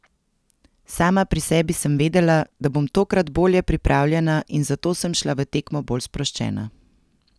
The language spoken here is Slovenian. Sama pri sebi sem vedela, da bom tokrat bolje pripravljena in zato sem šla v tekmo bolj sproščena.